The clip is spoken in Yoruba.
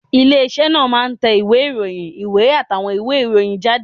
Ilé iṣẹ́ náà máa ń tẹ ìwé ìròyìn, ìwé àtàwọn ìwé ìròyìn jáde